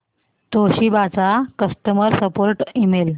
Toshiba चा customer support email